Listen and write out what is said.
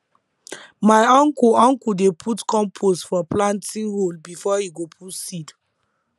my uncle uncle dey put compost for planting hole before e go put seed